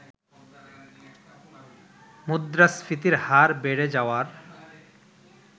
মুদ্রাস্ফীতির হার বেড়ে যাওয়ার